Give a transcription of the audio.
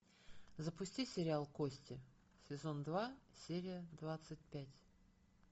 запусти сериал кости сезон два серия двадцать пять